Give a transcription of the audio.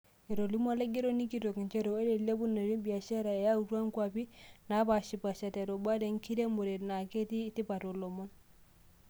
Etolimu olaigeroni kitok njeree oree elepunoto ebiashara eyatua nkuap naapashipasha, te rubata enkiremore naa kitii tipata oolomon.